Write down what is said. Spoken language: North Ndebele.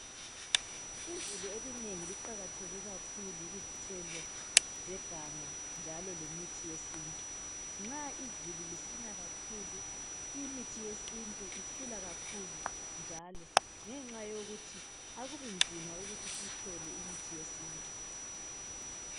Izulu elinengi liqakatheke kakhulu kuzithelo zeganga njalo lemithi yesintu. Nxa izulu lisina kakhulu, imithi yesintu ikhula kakhulu njalo, ngenxa yokuthi akubinzima ukuthi siyithole imithi yesintu.